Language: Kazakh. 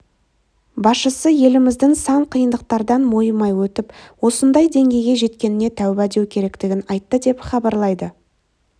басшысы еліміздің сан қиындықтардан мойымай өтіп осындай деңгейге жеткеніне тәубә деу керектігін айтты деп хабарлайды